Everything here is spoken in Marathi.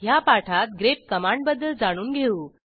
ह्या पाठात ग्रेप कमांडबद्दल जाणून घेऊ